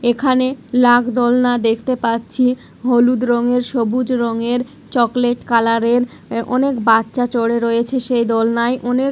এখানে লাগ দোলনা দেখতে পাচ্ছি হলুদ রঙের সবুজ রঙের চকলেট কালার -এর অনেক বাচ্চা চড়ে রয়েছে সেই দোলনায় অনেক --